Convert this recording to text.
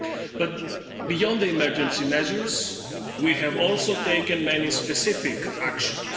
But, beyond the emergency measures we have also taken many specific actions.